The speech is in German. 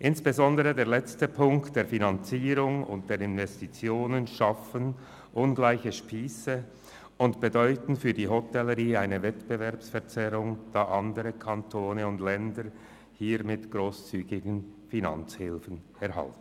Insbesondere die letztgenannten Punkte der Finanzierung und der Investitionen schaffen ungleich lange Spiesse und bedeuten für die Hotellerie eine Wettbewerbsverzerrung, da andere Kantone und Länder mit grosszügigen Finanzhilfen Unterstützung bieten.